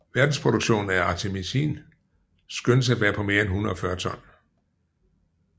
Verdensproduktionen af artemisinin skønnes at være på mere end 140 ton